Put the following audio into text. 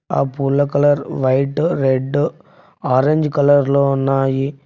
ఆ పూల colour white red orange colour లో ఉన్నాయి.